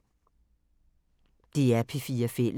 DR P4 Fælles